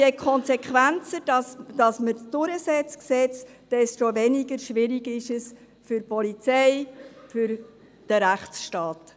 Je konsequenter man Gesetze durchsetzt, desto weniger schwierig ist es für die Polizei und den Rechtsstaat.